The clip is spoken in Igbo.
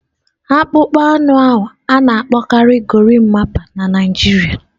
Akpụkpọ anụ ahu a na-akpọkarị gorimapa na Naịjirịa.